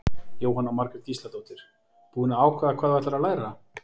Jóhanna Margrét Gísladóttir: Búin að ákveða hvað þú ætlar að læra?